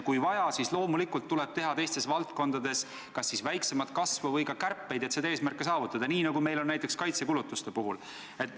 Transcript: Kui vaja, siis loomulikult tuleb teistes valdkondades leppida kas siis väiksema kasvuga või teha ka kärpeid, et seda eesmärki saavutada, nii nagu meil on tehtud näiteks kaitsekulutuste puhul.